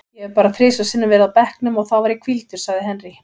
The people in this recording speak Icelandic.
Ég hef bara þrisvar sinnum verið á bekknum og þá var ég hvíldur, sagði Henry.